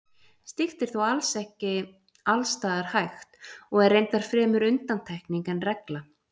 Slíkt er þó ekki alls staðar hægt og er reyndar fremur undantekning en regla.